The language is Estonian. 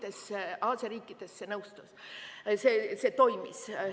Aga Aasia riikides see toimis.